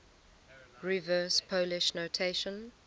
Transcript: reverse polish notation